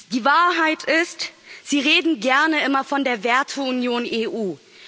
Die Wahrheit ist Sie reden gerne immer von der Werteunion EU.